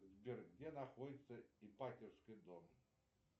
сбер где находится ипатьевский дом